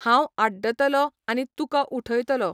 हांव आड्डतलो आनी तुका उठयतलो.